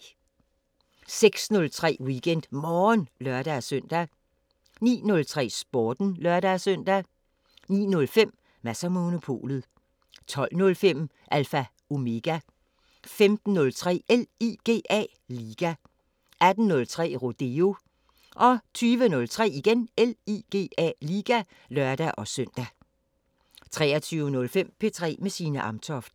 06:03: WeekendMorgen (lør-søn) 09:03: Sporten (lør-søn) 09:05: Mads & Monopolet 12:05: Alpha Omega 15:03: LIGA 18:03: Rodeo 20:03: LIGA (lør-søn) 23:05: P3 med Signe Amtoft